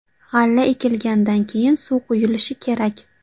G‘alla ekilgandan keyin, suv quyilishi kerak.